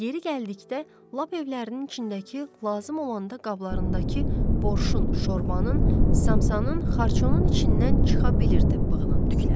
Yeri gəldikdə, lap evlərinin içindəki, lazım olanda qablarındakı borşun, şorbanın, samsanın, xarçonun içindən çıxa bilirdi bığının tükləri.